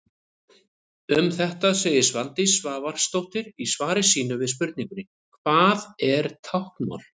Um þetta segir Svandís Svavarsdóttir í svari sínu við spurningunni: Hvað er táknmál?